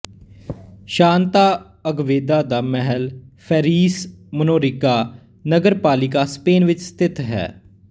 Santa Agueda ਦਾ ਮਹਿਲ Ferreries Menorca ਨਗਰਪਾਲਿਕਾ ਸਪੇਨ ਵਿੱਚ ਸਥਿਤ ਹੈ